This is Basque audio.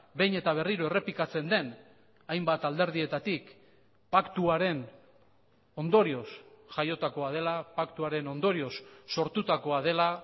behin eta berriro errepikatzen den hainbat alderdietatik paktuaren ondorioz jaiotakoa dela paktuaren ondorioz sortutakoa dela